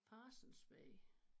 Parsons Bay